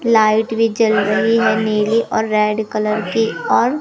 light भी जल रही है नीली और रेड कलर की और--